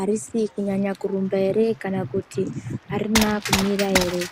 arisi kunyanya kurumba ere kana kuti arina kumira ere.